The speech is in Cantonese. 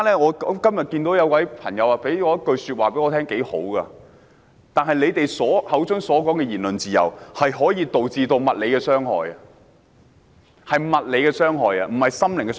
我今天遇到一位朋友，他的話很有道理：他們口中的言論自由可以導致物理傷害，是物理傷害，不是心靈傷害。